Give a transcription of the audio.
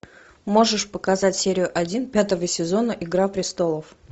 можешь показать серию один пятого сезона игра престолов